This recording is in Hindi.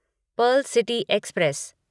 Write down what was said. Perl City express